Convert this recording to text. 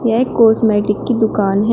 यह एक कॉस्मेटिक की दुकान है।